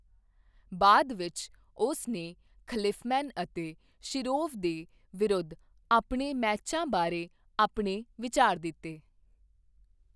ਬਾਅਦ ਵਿੱਚ, ਉਸਨੇ ਖਲੀਫਮੈਨ ਅਤੇ ਸ਼ਿਰੋਵ ਦੇ ਵਿਰੁੱਧ ਆਪਣੇ ਮੈਚਾਂ ਬਾਰੇ ਆਪਣੇ ਵਿਚਾਰ ਦਿੱਤੇ।